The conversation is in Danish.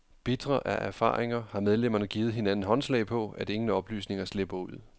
Bitre af erfaringer har medlemmerne givet hinanden håndslag på, at ingen oplysninger slipper ud.